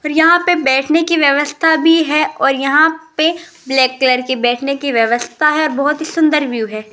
और यहां पे बैठने की व्यवस्था भी है और यहां पे ब्लैक कलर के बैठने की व्यवस्था है बहोत ही सुंदर व्यू है।